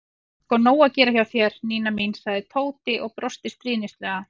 Það er sko nóg að gera hjá þér, Nína mín sagði Tóti og brosti stríðnislega.